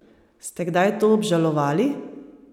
Ste kdaj to obžalovali?